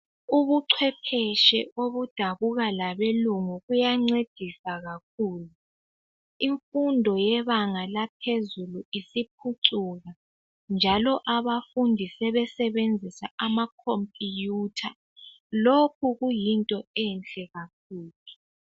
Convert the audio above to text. Ubuchwepheshe obudabuka labelungu buyancedisa kakhulu. Imfundo yebanga laphezulu siphucuka njalo abafundi sebesebenzisa amakhompiyutha. Lokhu kuyinto enhle kakhulu.